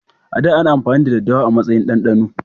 A da, ana amfani da daddawa a matsayin dandano